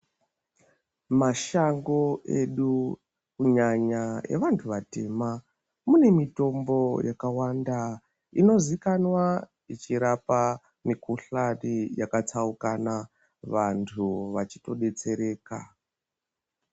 Mashango edu kunyanya evantu vatema mune mitombo yakawanda inozikanwa ichirapa mikuhlani yakatsaukana vantu vachitobetsereka.